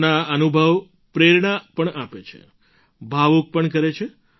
તેમના અનુભવ પ્રેરણા પણ આપે છે ભાવુક પણ કરે છે